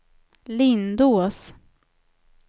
Lindås